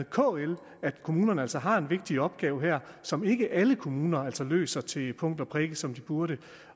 kl at kommunerne altså har en vigtig opgave her som ikke alle kommuner altså løser til punkt og prikke som de burde